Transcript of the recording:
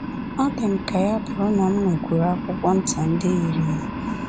Ọ dị m ka ya bụrụ na m nwekwuru akwụkwọ nta ndị yiri ya